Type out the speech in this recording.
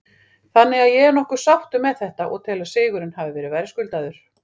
Þannig að ég er nokkuð sáttur með þetta og tel að sigurinn hafi verið verðskuldaður.